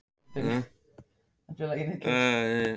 Var hún ekki ánægð með að fá tækifærið?